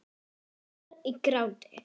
Endar í gráti.